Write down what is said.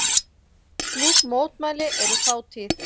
Slík mótmæli eru fátíð